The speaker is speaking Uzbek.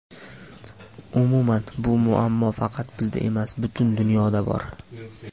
Umuman, bu muammo faqat bizda emas, butun dunyoda bor.